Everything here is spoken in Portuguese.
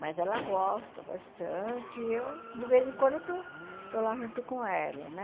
Mas ela gosta bastante e eu, de vez em quando, eu estou estou lá junto com ela, né?